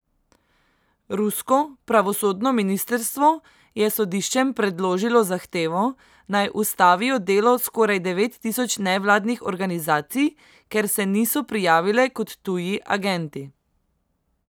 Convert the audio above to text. Rusko pravosodno ministrstvo je sodiščem predložilo zahtevo, naj ustavijo delo skoraj devet tisoč nevladnih organizacij, ker se niso prijavile kot tuji agenti.